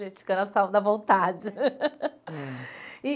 Gente, na vontade. E